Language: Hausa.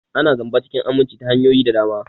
Ana zamba cikin aminci ta hanyoyi da dama.